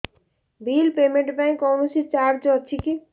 bill payment ପାଇଁ କୌଣସି charge ଅଛି କି